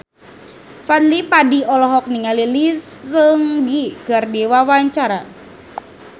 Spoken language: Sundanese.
Fadly Padi olohok ningali Lee Seung Gi keur diwawancara